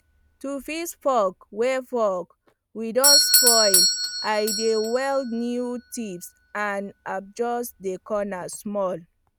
to fix fork wey fork wey don spoil i dey weld new tips and adjust de corner small